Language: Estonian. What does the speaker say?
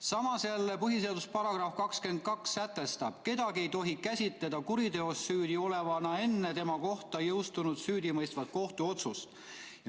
Samas jälle põhiseaduse § 22 sätestab: "Kedagi ei tohi käsitada kuriteos süüdi olevana enne, kui tema kohta on jõustunud süüdimõistev kohtuotsus.